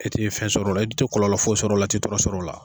E ti fɛn sɔrɔ o la i ti kɔlɔlɔ foyi sɔrɔ o la i ti tɔɔrɔ sɔrɔ o la.